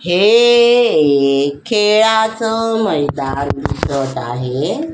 हे एक खेळाच मैदान दिसत आहे.